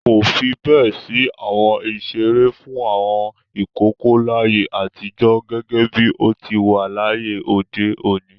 Kò fi bẹ́ẹ̀ sí àwọn ìṣeré fún àwọn ìkókó láyé àtijọ́ gẹ́gẹ́ bí ó ti wà láyé òde òní.